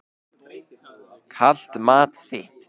Kalt mat þitt.